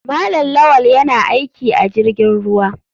Malam lawal yana aiki a jirgin ruwa.